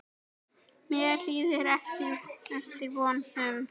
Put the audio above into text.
Mér líður eftir vonum.